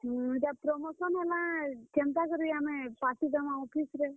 ଇଟା promotion ହେଲା, କେନ୍ତାକରି ଆମେ party ଦେମା office ରେ।